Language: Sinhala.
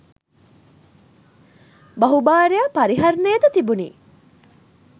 බහුභාර්යා පරිහරණය ද තිබුණි.